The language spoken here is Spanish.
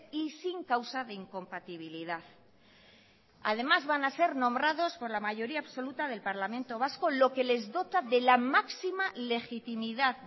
y sin causa de incompatibilidad además van a ser nombrados por la mayoría absoluta del parlamento vasco lo que les dota de la máxima legitimidad